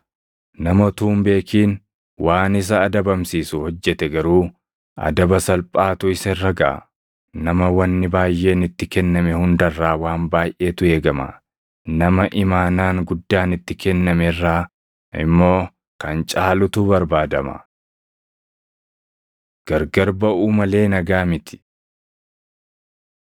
Nama utuu hin beekin waan isa adabamsiisu hojjete garuu adaba salphaatu isa irra gaʼa. Nama wanni baayʼeen itti kenname hunda irraa waan baayʼeetu eegama; nama imaanaan guddaan itti kenname irraa immoo kan caalutu barbaadama. Gargar Baʼuu Malee Nagaa miti 12:51‑53 kwf – Mat 10:34‑36